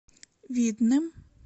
видным